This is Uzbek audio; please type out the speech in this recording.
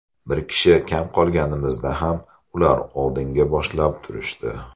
Bir kishi kam qolganimizda ham ular oldinga boshlab turishdi.